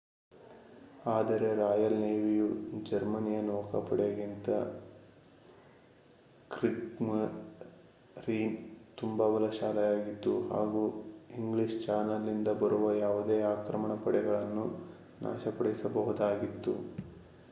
ಆದರೆ ರಾಯಲ್ ನೇವಿಯು ಜರ್ಮನಿಯ ನೌಕಾಪಡೆಗಿಂತ ಕ್ರಿಗ್ಸ್ಮರೀನ್ ತುಂಬಾ ಬಲಶಾಲಿಯಾಗಿತ್ತು ಹಾಗೂ ಇಂಗ್ಲಿಷ್ ಚಾನೆಲ್ ನಿಂದ ಬರುವ ಯಾವುದೇ ಆಕ್ರಮಣ ಪಡೆಗಳನ್ನು ನಾಶಪಡಿಸಬಹುದಾಗಿತ್ತು